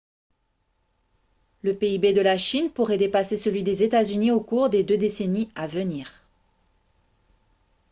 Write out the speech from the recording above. le pib de la chine pourrait dépasser celui des états-unis au cours des deux décennies à venir